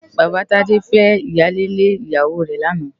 Baba Tade fè iyálé lé iyáwó rè làná